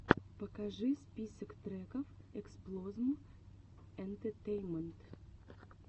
покажи список треков эксплозм энтетейнмент